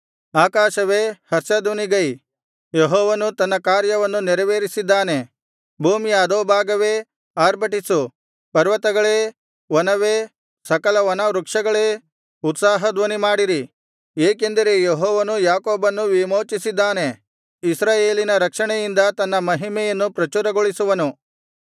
ಆಕಾಶವೇ ಹರ್ಷಧ್ವನಿಗೈ ಯೆಹೋವನು ತನ್ನ ಕಾರ್ಯವನ್ನು ನೆರವೇರಿಸಿದ್ದಾನೆ ಭೂಮಿಯ ಅಧೋಭಾಗವೇ ಆರ್ಭಟಿಸು ಪರ್ವತಗಳೇ ವನವೇ ಸಕಲವನವೃಕ್ಷಗಳೇ ಉತ್ಸಾಹಧ್ವನಿಮಾಡಿರಿ ಏಕೆಂದರೆ ಯೆಹೋವನು ಯಾಕೋಬನ್ನು ವಿಮೋಚಿಸಿದ್ದಾನೆ ಇಸ್ರಾಯೇಲಿನ ರಕ್ಷಣೆಯಿಂದ ತನ್ನ ಮಹಿಮೆಯನ್ನು ಪ್ರಚುರಗೊಳಿಸುವನು